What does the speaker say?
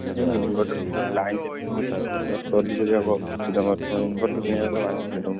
ଉଁ inverter କିଣ line ଯଦି ରହୁନି study କରିବାକୁ ଅସୁବିଧା inverter କିଣିଆକୁ ତ ବାଧ୍ୟନା ତମେ।